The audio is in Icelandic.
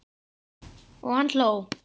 Og hann hló.